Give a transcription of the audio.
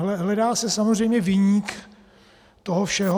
Hledá se samozřejmě viník toho všeho.